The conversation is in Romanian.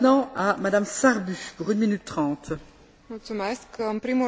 În primul rând, vreau să mi exprim dezamăgirea față de eșecul concilierii.